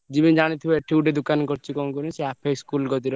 ଜିମିତି ଜାଣିଥିବ ଏଠି ଗୋଟେ ଦୋକାନ କରିଚି କଣ କହିଲୁ ସେ ଆପେ school କତିର।